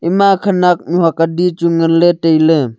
ema khunak mih hauk adi chu ngan le tai le.